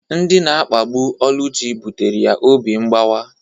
Ndị na-akpagbu Oluchi kpatara ya obi mgbawa.